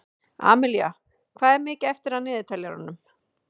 Amilía, hvað er mikið eftir af niðurteljaranum?